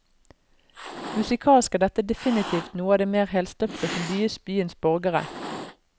Musikalsk er dette definitivt noe av det mer helstøpte som bys byens borgere.